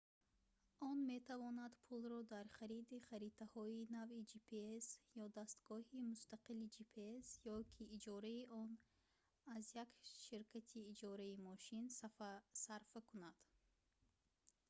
он метавонад пулро дар хариди харитаҳои нави gps ё дастгоҳи мустақили gps ё ки иҷораи он аз як ширкати иҷораи мошин сарфа кунад